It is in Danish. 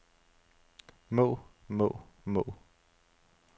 må må må